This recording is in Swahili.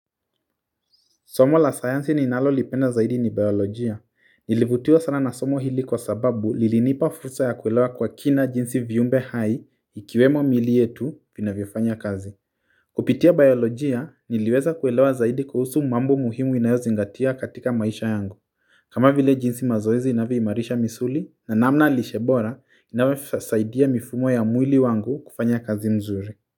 Somo la science ninalolipenda zaidi ni biolojia, nilivutiwa sana na somo hili kwa sababu lilinipa fursa ya kuelewa kwa kina jinsi viumbe hai ikiwemo miili yetu vinavyofanya kazi kupitia biolojia niliweza kuelewa zaidi kuhusu mambo muhimu inayozingatia katika maisha yangu kama vile jinsi mazoezi inavyoimarisha misuli na namna lishe bora inavasaidia mifumo ya mwili wangu kufanya kazi mzuri.